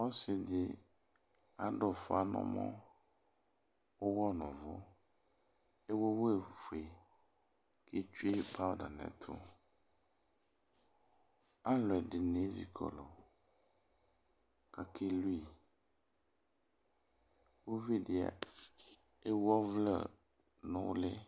Ɔsi di adʋ fa n'ɔmɔ, ʋwɔ n 'ʋvʋ, ewu ivlezu fue k'etsue powder n'ɛtʋ Alʋɛdini ezikɔlʋ k'akelu yi Uvi di ewu ɔvlɛ n'ʋli